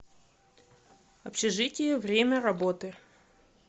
общежитие время работы